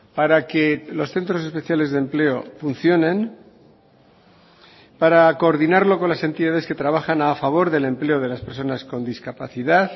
para que los centros especiales de empleo funcionen para coordinarlo con las entidades que trabajan a favor del empleo de las personas con discapacidad